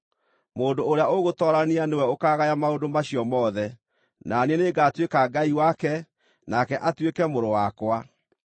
Mũndũ ũrĩa ũgũtoorania nĩwe ũkaagaya maũndũ macio mothe, na niĩ nĩngatuĩka Ngai wake, nake atuĩke mũrũ wakwa.